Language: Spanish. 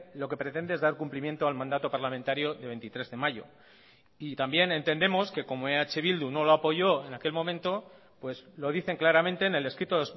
lo que pretende es dar cumplimiento al mandato parlamentario de veintitrés de mayo y también entendemos que como eh bildu no lo apoyó en aquel momento pues lo dicen claramente en el escrito